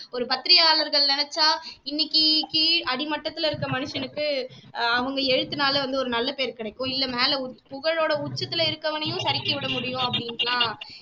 ஒரு பத்திரிக்கையாளர்கள் நினைச்சா இன்னைக்கு கீழ் அடிமட்டத்துல இருக்க மனிஷனுக்கு ஆஹ் அவங்க எழுத்துனால வந்து ஒரு நல்ல பேர் கிடைக்கும் இல்ல மேல பு புகழோட உச்சத்துல இருக்கவனையும் சறுக்கி விட முடியும் அப்படின்னுட்டு எல்லாம்